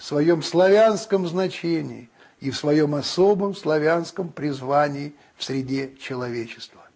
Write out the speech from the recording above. своём славянском значении и в своём особом славянском призвании в среде человечества